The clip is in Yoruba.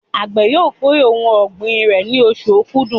Àgbẹ̀ yóò kórè ohun ọ̀gbìn rẹ̀ ní oṣù Okudu.